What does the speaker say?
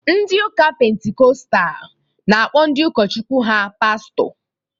Ndị Ụka Pentikọstal na-akpọ ndị ụkọchukwu ha Pastọ